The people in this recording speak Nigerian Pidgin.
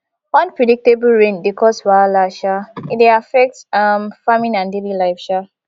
unpredictable rain dey cause wahala um e dey affect um farming and daily life um